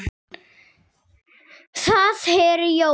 Það eru jólin.